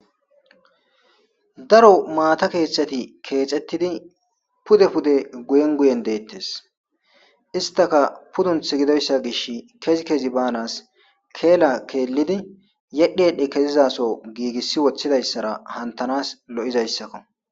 Daro maata keeththati keexettidi pude pude guyen guyen deettes istaka pudunth gidoyssa gish kezi kezi baanas keela keellidi yedhi yedhi kezizaso giigissi woththidayssara hantanas lo'izayssakko